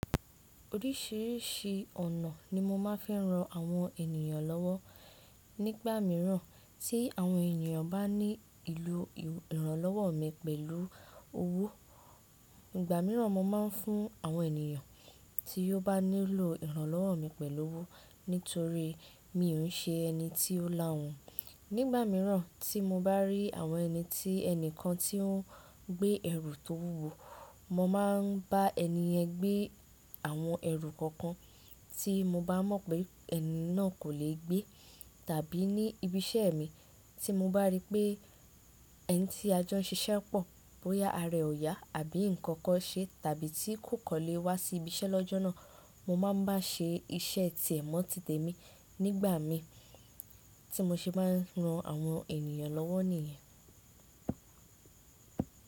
Oríṣiríṣi ọ̀nà ni mo ma fi n ran àwọn ènìyàn lọ́wọ́. Nígbà míràn tí àwọn ènìyàn bá nílò ìrànlọ́wọ́ mi pẹ̀lú owó, ìgbà míràn mo maa ń fún àwọn ènìyàn tí ó bá nílò ìrànlọ́wọ́ mi pẹ̀lú owó nítorí mi ò ń ṣe ẹni tí ó lá ahun. Nígbà míràn tí mo bá rí àwọn ẹni tí ẹnìkan tí ó ń gbé ẹrù tó wúwo, mo ma ń bá ẹni yẹn gbé àwọn ẹrù kankan tí mo bá mọ̀ pé ẹni náà kò lè gbé. Tàbí ní ibi iṣẹ́ mi tí mo bá rí pé ẹni tí a jọ ń ṣiṣẹ́ pọ̀ bóyá ara ẹ ò yá àbí nǹkan kan ṣe tàbí tí kò kọ́ lé wá sí ibi iṣẹ́ lọ́jọ́ náà, mo máa ń bá ṣe iṣẹ́ tiẹ̀ mọ́ ti tẹ̀mí nígbà mi tí mo ṣe maá ran àwọn ènìyàn lọ́wọ́ nìyẹn.